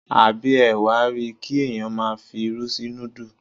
Àbí ẹ wa ri, kí ẹ̀yàn máa fi irú sí núdù.